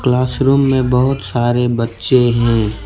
Classroom में बहोत सारे बच्चे हैं।